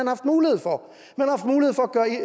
haft mulighed for